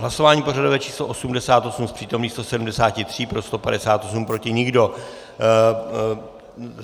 Hlasování pořadové číslo 88, z přítomných 173 pro 158, proti nikdo.